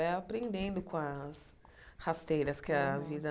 Vai aprendendo com as rasteiras que a vida